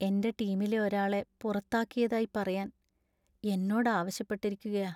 എന്‍റെ ടീമിലെ ഒരാളെ പുറത്താക്കിയതായി പറയാൻ എന്നോട് ആവശ്യപ്പെട്ടിരിക്കുകയാ .